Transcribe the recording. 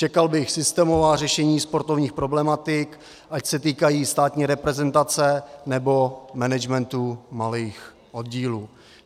Čekal bych systémová řešení sportovních problematik, ať se týkají státní reprezentace, nebo managementu malých oddílů.